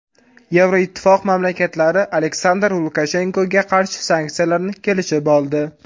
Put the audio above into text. Yevroittifoq mamlakatlari Aleksandr Lukashenkoga qarshi sanksiyalarni kelishib oldi.